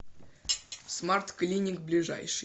смарт клиник ближайший